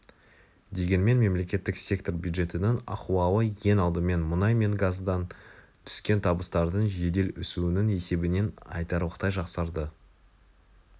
дегенмен мемлекеттік сектор бюджетінің ахуалы ең алдымен мұнай мен газдан түскен табыстардың жедел өсуінің есебінен айтарлықтай жақсарды